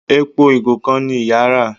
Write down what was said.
Èpo igo kán ní ìyá rà.